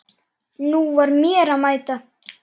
Nú var mér að mæta!